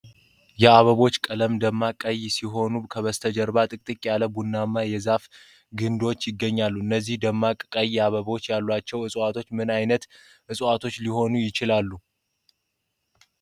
የአበባዎቹ ቀለም ደማቅ ቀይ ሲሆን ከበስተጀርባ ጥቅጥቅ ያሉ ቡናማ የዛፍ ግንድዎች ይገኛሉ። እነዚህ ደማቅ ቀይ አበባዎች ያሏቸው ዕፅዋቶች ምን ዓይነት ዕፅዋቶች ሊሆኑ ይችላሉ?